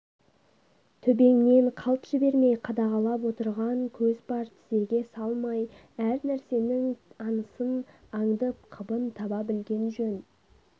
төбеңнен қалт жібермей қадағалап отырған көз бар тзеге салмай әрнәрсенің аңысын аңдып қыбын таба білген жөн